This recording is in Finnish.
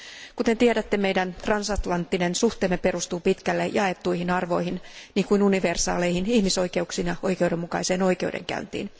Kuten tiedätte, transatlanttiset suhteemme perustuvat pitkälle jaettuihin arvoihin, kuten universaaleihin ihmisoikeuksiin ja oikeudenmukaiseen oikeudenkäyntiin.